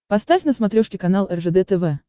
поставь на смотрешке канал ржд тв